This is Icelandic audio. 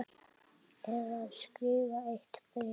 Eða skrifa eitt bréf?